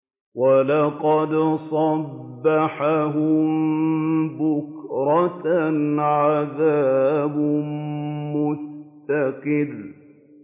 وَلَقَدْ صَبَّحَهُم بُكْرَةً عَذَابٌ مُّسْتَقِرٌّ